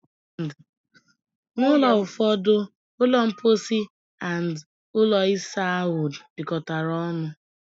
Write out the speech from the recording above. N'ulo ụfọdụ, ulo mposi and ụlọ isa ahụ dikotara ọṅụ